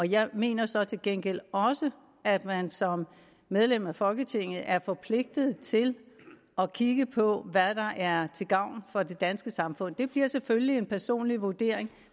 jeg mener så til gengæld også at man som medlem af folketinget er forpligtet til at kigge på hvad der er til gavn for det danske samfund det bliver selvfølgelig en personlig vurdering